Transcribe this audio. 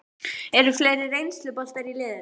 Eru fleiri reynsluboltar í liðinu?